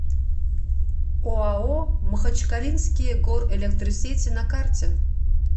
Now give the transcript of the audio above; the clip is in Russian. оао махачкалинские горэлектросети на карте